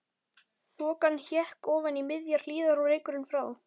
Þokan hékk ofan í miðjar hlíðar og reykurinn frá